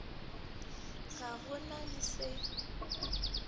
ga go na le se